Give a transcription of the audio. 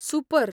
Super!